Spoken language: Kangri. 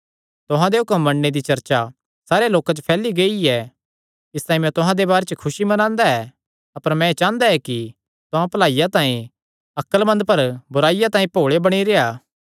तुहां दे हुक्म मन्नणे दी चर्चा सारेयां लोकां च फैली गेई ऐ इसतांई मैं तुहां दे बारे च खुसी मनांदा ऐ अपर मैं एह़ चांह़दा ऐ कि तुहां भलाईया तांई अक्लमंद पर बुराईया तांई भोल़े बणी रेह्आ